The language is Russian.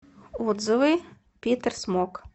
отзывы питерсмок